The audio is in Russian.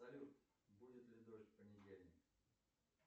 салют будет ли дождь в понедельник